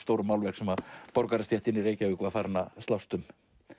stóru málverkin sem borgarastéttin í Reykjavík var farin að slást um